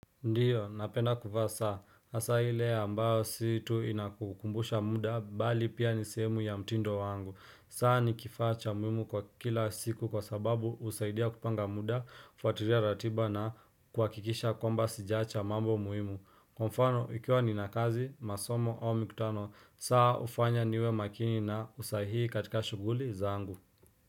Ndiyo, napenda kuvaa saa hasa ile ambayo si tu inakukumbusha muda, bali pia ni sehemu ya mtindo wangu. Saa ni kifaa cha muhmu kwa kila siku kwa sababu husaidia kupanga muda, kufuatilia ratiba na kuhakikisha kwamba sijaacha mambo muimu. Kwa mfano, ikiwa nina kazi, masomo au mikutano. Saa hufanya niwe makini na usahii katika shughuli zangu.